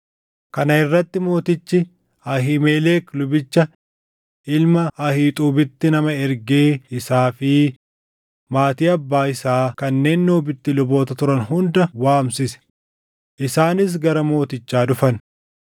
Kana irratti mootichi Ahiimelek lubicha ilma Ahiixuubitti nama ergee isaa fi maatii abbaa isaa kanneen Noobitti luboota turan hunda waamsise; isaanis gara mootichaa dhufan.